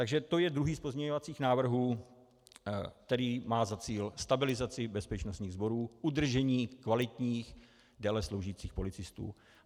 Takže to je druhý z pozměňovacích návrhů, který má za cíl stabilizaci bezpečnostních sborů, udržení kvalitních délesloužících policistů.